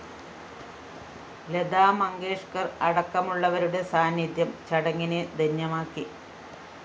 ലതാ മങ്കേഷ്‌കര്‍ അടക്കമുള്ളവരുടെ സാന്നിധ്യം ചടങ്ങിനെ ധന്യമാക്കി